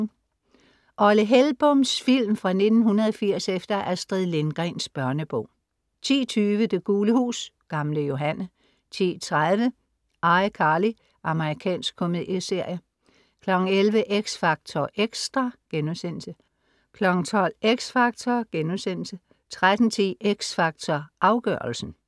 Olle Hellboms film fra 1980 efter Astrid Lindgrens børnebog 10:20 Det gule hus, Gamle Johanne 10:30 ICarly. Amerikansk komedieserie 11:00 X Factor Xtra* 12:00 X Factor* 13:10 X Factor Afgørelsen*